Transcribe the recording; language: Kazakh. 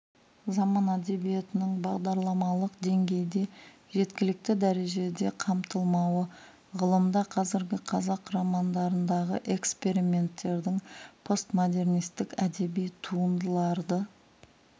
заман әдебиетінің бағдарламалық деңгейде жеткілікті дәрежеде қамтылмауы ғылымда қазіргі қазақ романдарындағы эксперименттердің постмодернистік әдеби туындарларды